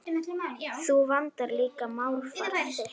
Þú vandar líka málfar þitt.